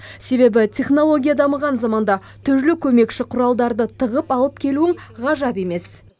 себебі технология дамыған заманда түрлі көмекші құралдарды тығып алып келуің ғажап емес